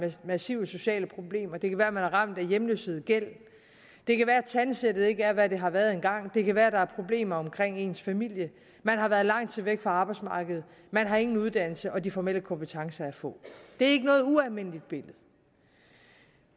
massive sociale problemer det kan være at man er ramt af hjemløshed og gæld det kan være at tandsættet ikke er hvad det har været engang det kan være at der er problemer omkring ens familie man har været lang tid væk fra arbejdsmarkedet man har ingen uddannelse og de formelle kompetencer er få det er ikke noget ualmindeligt billede